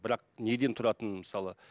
бірақ неден тұратынын мысалы